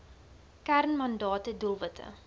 kern mandate doelwitte